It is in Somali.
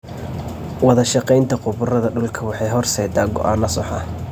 Wadashaqeynta khubarada dhulka waxay horseedaa go'aanno sax ah.